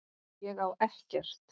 Ég á ekkert.